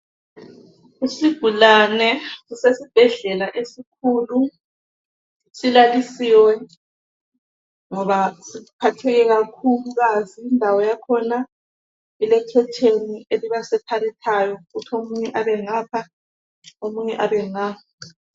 Isigulane sisesibhedlela esikhulu silalisiwe ngoba siphatheke kakhulukazi. Indawo yakhona ilekhetheni elibasepharethayo ukuthi omunye abengapha omunye abe nga.